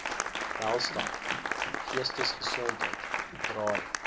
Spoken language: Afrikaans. welstand geestesgesondheid draai